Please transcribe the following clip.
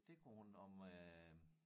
Det kunne hun om øh